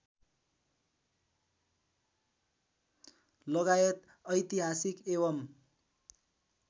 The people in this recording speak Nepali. लगायत ऐतिहासिक एवम्